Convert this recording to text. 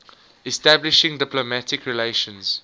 establishing diplomatic relations